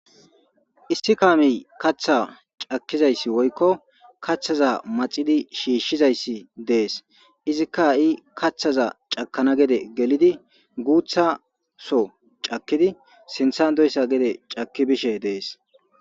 Issi kaami katha cakkizayssi woykko kaththaza maxidi shiishshizayssi dees izikka i kaththaza cakana gede gelidi guutha so cakidi sinthan doyssa gede cakki bishe dees